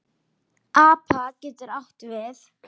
APA getur átt við